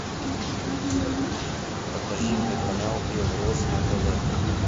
покажи мне канал белрос на тв